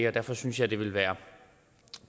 og derfor synes jeg det ville være